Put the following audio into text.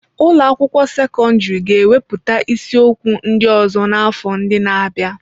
Ụlọ akwụkwọ sekọndrị ga-ewepụta isiokwu ndị ọzọ n'afọ ndị na-abịa.